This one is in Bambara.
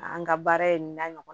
An ka baara in na ɲɔgɔnna